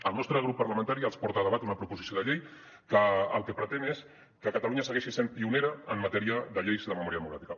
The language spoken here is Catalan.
el nostre grup parlamentari els porta a debat una proposició de llei que el que pretén és que catalunya segueixi sent pionera en matèria de lleis de memòria democràtica